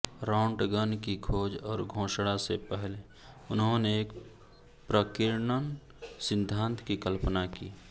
Röntgen की खोज और घोषणा से पहले उन्होंने एक प्रकीर्णन सिद्धांत की कल्पना की